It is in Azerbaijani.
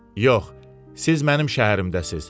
Yox, siz mənim şəhərimdəsiniz.